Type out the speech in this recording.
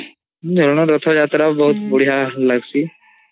ଝୁଲନ୍ ରଥୟାତ୍ରା ବହୁତ୍ ବଢିଆ ଲାଗଚୀ